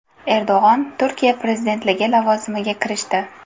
Erdo‘g‘on Turkiya prezidentligi lavozimiga kirishdi.